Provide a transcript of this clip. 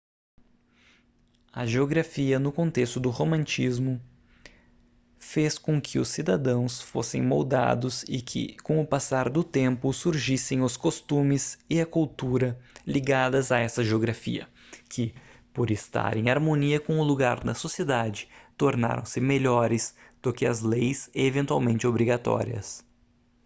a geografia no contexto do romantismo fez com que os cidadãos fossem moldados e que com o passar do tempo surgissem os costumes e a cultura ligadas a essa geografia que por estar em harmonia com o lugar da sociedade tornaram-se melhores do que as leis eventualmente obrigatórias